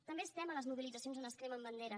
també estem a les mobilitzacions on es cremen banderes